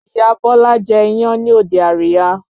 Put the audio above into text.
Ìyá Bọ́lá jẹ́ iyán ní òde àríyá